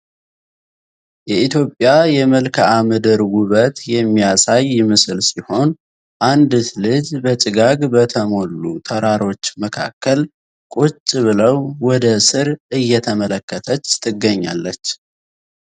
የኢትዮጵያ የመልካም ምድር ውበት የሚያሳይ ምስል ሲሆን አንዲት ልጅ በጭጋግ በተሞሉ ተራሮች መካከል ቁጭ ብለው ወደ ስር እየተመለከተች ትገኛለች ።